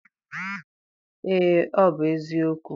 Ee, ọ bụ eziokwu.